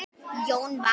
Jón vann.